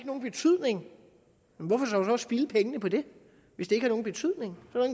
nogen betydning hvorfor dog så spilde pengene på det hvis det ikke har nogen betydning er